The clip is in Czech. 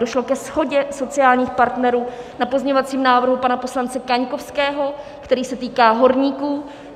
Došlo ke shodě sociálních partnerů na pozměňovacím návrhu pana poslance Kaňkovského, který se týká horníků.